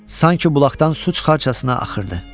Sanki bulaqdan su çıxarcasına axırdı.